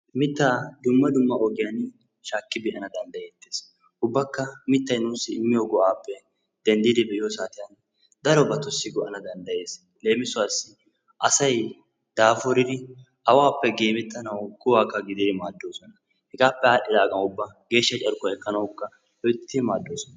Mittaa dumma dumma ogiyan shaakki be'ana danddayeettes. ubbaka mittay nuussi immiyoo go'aappe denddidi be'iyoo saatiyan darobatussi go'ana dandayes. leemisuwaassi asay daafuridi awaappe gemettanawu kuwaka gididi maaddosona hegaape adhidaagan geeshsha carkkuwaa ekkanawuka loyttidi maaddoosona.